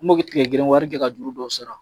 N m'o tigɛ gɛn waati de ka juru dɔw sara